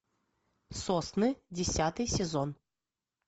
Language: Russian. сосны десятый сезон